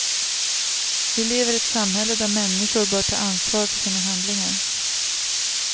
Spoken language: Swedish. Vi lever i ett samhälle där människor bör ta ansvar för sina handlingar.